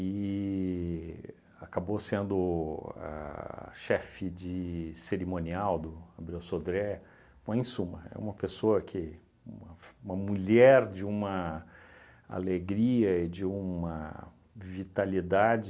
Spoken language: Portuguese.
e acabou sendo a chefe de cerimonial do Abreu Sodré, bom, em suma, é uma pessoa que, uma f, uma mulher de uma alegria e de uma vitalidade